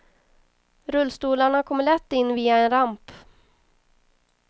Rullstolarna kommer lätt in via en ramp.